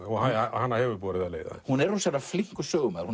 hana hefur borið af leið hún er flinkur sögumaður